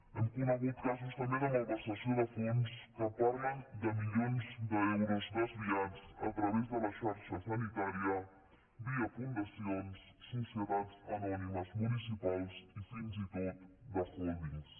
hem conegut casos també de malversació de fons que parlen de milions d’euros desviats a través de la xarxa sanitària via fundacions societats anònimes municipals i fins i tot d’hòldings